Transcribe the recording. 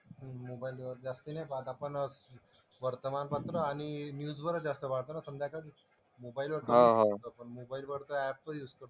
मोबाईलवर जास्त नाही पाहत आपण. वर्तमानपत्र आणि न्यूजवरच जास्त पाहतो ना संध्याकाळी. मोबाइलवरती मोबाईलवर तर ऍप ही असतो.